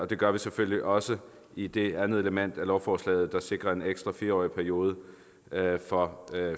det gør vi selvfølgelig også i det andet element af lovforslaget der sikrer en ekstra fire årig periode for